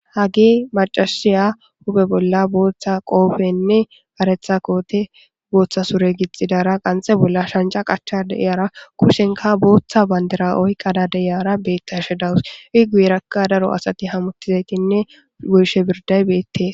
hagi macasiya hupe bolla booththa qoofenne aretha koote booththa sure gixidara qanxe bolla shanca qacha deiyara kushenka booththa bandira oyqada deiyara beetta shedawus i guiirakka daro asati hamuttizaytinne goyshe birday beette